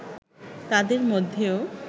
তাদের মধ্যেও